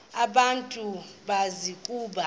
abantu bazi ukuba